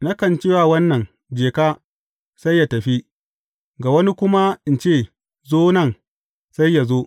Nakan ce wa wannan, Je ka,’ sai yă tafi, ga wani kuma in ce, Zo nan,’ sai yă zo.